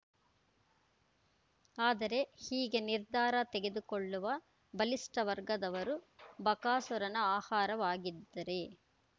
ಆದರೆ ಹೀಗೆ ನಿರ್ಧಾರ ತೆಗೆದುಕೊಳ್ಳುವ ಬಲಿಷ್ಠ ವರ್ಗದವರು ಬಕಾಸುರನ ಆಹಾರವಾಗಿದ್ದರೆ